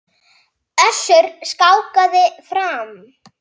Össuri skákað fram.